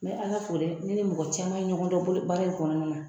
N bɛ Ala fo dɛ ne ni mɔgɔ caman ye ɲɔgɔn dɔn bolo baara in kɔnɔna na